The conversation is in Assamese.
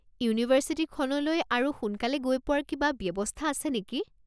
ইউনিভাৰ্ছিটিখনলৈ আৰু সোনকালে গৈ পোৱাৰ কিবা ব্যৱস্থা আছে নেকি?